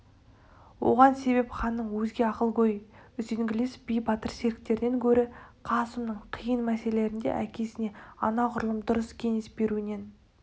оған себеп ханның өзге ақылгөй үзеңгілес би батыр серіктерінен гөрі қасымның қиын мәселелерде әкесіне анағұрлым дұрыс кеңес беруінен